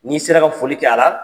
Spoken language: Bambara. N'i sera ka foli kɛ a la